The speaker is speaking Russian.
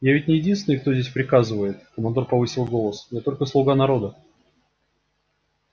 я ведь не единственный кто здесь приказывает командор повысил голос я только слуга народа